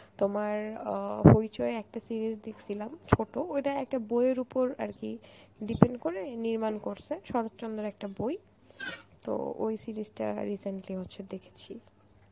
তোমার অ হইচই এ একটা series দেখসিলাম ছোট, ওইটা একটা বইয়ের উপর আর কি depend করে নির্মাণ করসে, শরৎচন্দ্রের একটা বই তো ওই series টা recently হচ্ছে দেখেছি.